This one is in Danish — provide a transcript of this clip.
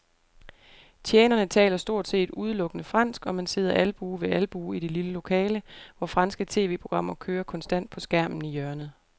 Tjenerne taler stort set udelukkende fransk, og man sidder albue ved albue i det lille lokale, hvor franske tv-programmer kører konstant på skærmen i hjørnet.